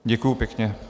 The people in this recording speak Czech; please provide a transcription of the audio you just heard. Děkuji pěkně.